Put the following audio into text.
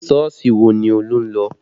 Sọ́ọ̀sì wo ni Olú ń lọ?